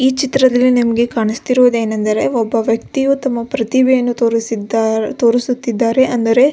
ಈ ಚಿತ್ರದಲ್ಲಿ ನಿಮ್ಗೆ ಕಾಣ್ಸ್ತಿರೋದು ಏನಂದರೆ ಒಬ್ಬ ವ್ಯಕ್ತಿ ತಮ್ಮ ಪ್ರತಿಭೆಯನ್ನು ತೋರಿಸುತ್ತಿದ್ದಾರೆ ಅಂದರೆ --